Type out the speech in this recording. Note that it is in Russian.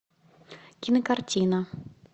кинокартина